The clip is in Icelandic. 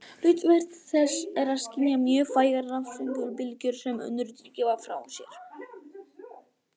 Hlutverk þess er að skynja mjög vægar rafsegulbylgjur sem önnur dýr gefa frá sér.